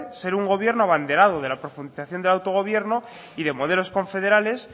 ser un gobierno abanderado de la profundización de autogobierno y de modelos confederales